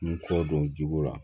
N kɔ don jugo la